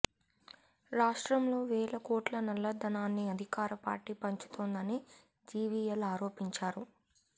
రాష్ట్రంలో వేల కోట్ల నల్లధనాన్ని అధికార పార్టీ పంచుతోందని జివిఎల్ ఆరోపించారు